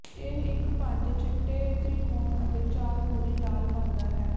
ਇਹ ਇੱਕ ਪੰਜ ਚਿੱਟੇ ਤ੍ਰਿਕੋਣ ਅਤੇ ਚਾਰ ਪੂਰੀ ਲਾਲ ਬਣਦਾ ਹੈ